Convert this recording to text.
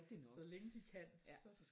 Så længe de kan så